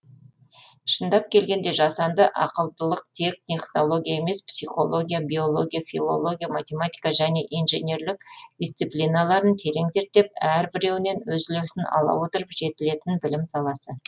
шындап келгенде жасанды ақылдылық тек технология емес психология биология филология математика және инженерлік дисциплиналарын терең зерттеп әрбіреуінен өз үлесін ала отырып жетілетін білім саласы